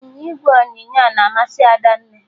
Ịnyịnya ígwè ọnyịnya na amasị Adanne